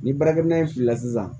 Ni baarakɛminɛn in fili la sisan